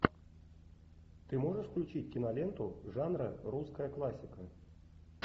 ты можешь включить киноленту жанра русская классика